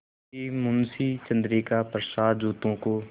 कि मुंशी चंद्रिका प्रसाद जूतों को